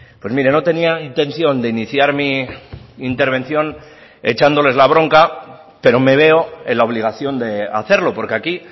pues mire no tenía intención de iniciar mi intervención echándoles la bronca pero me veo en la obligación de hacerlo porque aquí